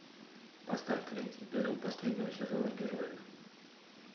поставь третий эпизод последнего сезона герои